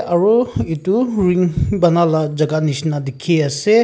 aru etu ring bona laga jagah jisna dekhe ase.